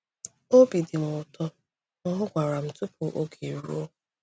Obi dị m ụtọ na ọ gwara m tupu oge eruo.